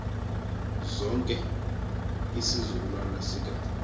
sonke isizukulwana sika